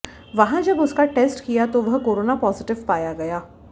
वहां जब उसका टेस्ट किया तो वह कोरोना पॉजिटिव पाया गया